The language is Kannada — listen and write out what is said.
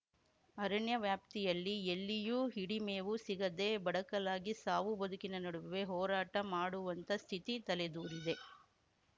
ಅರಣ್ಯ ವ್ಯಾಪ್ತಿಯಲ್ಲಿ ಎಲ್ಲಿಯೂ ಹಿಡಿಮೇವು ಸಿಗದೇ ಬಡಕಲಾಗಿ ಸಾವು ಬದುಕಿನ ನಡುವೆ ಹೋರಾಟ ಮಾಡುವಂತ ಸ್ಥಿತಿ ತಲೆದೂರಿದೆ